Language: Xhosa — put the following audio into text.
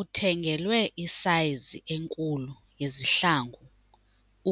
Uthengelwe isayizi enkulu yezihlangu